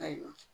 Ayiwa